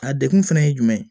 A degun fɛnɛ ye jumɛn ye